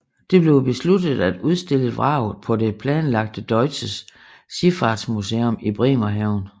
Det blev besluttet at udstillet vraget på det planlagte Deutsches Schiffahrtsmuseum i Bremerhaven